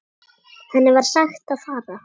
Henni var sagt að fara.